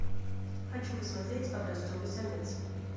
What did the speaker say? хочу посмотреть образцовый самец